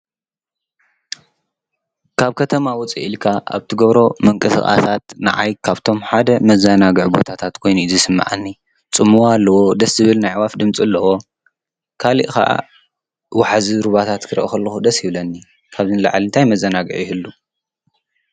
ካብ ከተማ ዉፅእ ኢልካ ኣብ ትገብሮ መንቀ ስቓት ንዓይ ካብቶም ሓደ መዛናግዒ ቦታታት ኮይኑ ዩ ዝስምዐኒ፡፡ ጽምዋ ኣለዎ፣ ደስ ዝብል ናይ ኣዕዋፍ ድምፂ ኣለዎ፡፡ ካልእ ኸዓ ዋሓዚ ሩባታት ክሪኢ ኸልኹ ደስ ይብለኒ፡፡ ካብዚ ንላዕሊ ታይ መዛናግዒ ይህሉ?